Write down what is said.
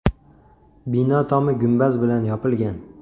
Bino tomi gumbaz bilan yopilgan.